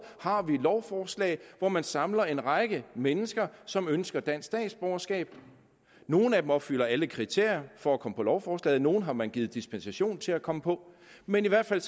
har lovforslag hvor man samler en række mennesker som ønsker dansk statsborgerskab nogle af dem opfylder alle kriterier for at komme på lovforslaget nogle har man givet dispensation til at komme på men i hvert fald